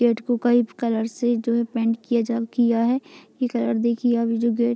gate को कई colour से जो है पेंट किया है जब किया है ये कलर देखिए अब जो गेट --